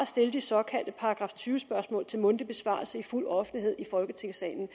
stille de såkaldte § tyve spørgsmål til mundtlig besvarelse i fuld offentlighed i folketingssalen